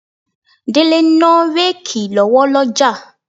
Délé ń ná réèkì lọ́wọ́ lọ́jà.